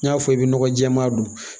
N'a fɔ i bɛ nɔgɔ jɛɛma don